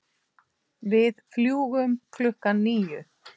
Við fljúgum klukkan níu.